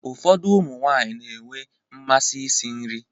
Ụfọdụ ụmụ nwaanyị na-enwe mmasị isi nri.